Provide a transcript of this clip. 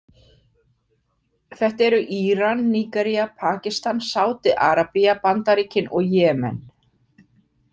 Þetta eru Íran, Nígería, Pakistan, Sádi Arabía, Bandaríkin og Jemen.